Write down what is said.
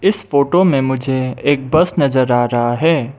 इस फोटो में मुझे एक बस नज़र आ रहा है।